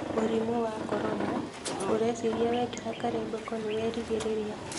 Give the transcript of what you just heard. Mũrimũ wa corona: ũreciria wekĩra karembeko nĩwerigĩrĩria.